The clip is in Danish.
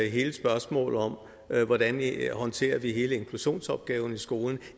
hele spørgsmålet om hvordan vi håndterer hele inklusionsopgaven i skolen